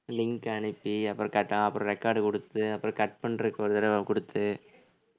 link அனுப்பி அப்புறம் கேட்டா அப்புறம் record குடுத்து அப்புறம் cut பண்றதுக்கு ஒரு தடவை குடுத்து